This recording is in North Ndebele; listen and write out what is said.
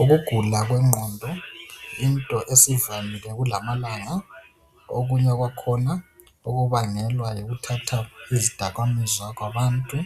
Ukugula kwengqondo yinto esivamile kulamalanga okunye kwakhona kubangelwa yikuthatha izidakamizwa kwabantu